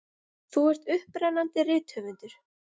Þú ert upprennandi rithöfundur.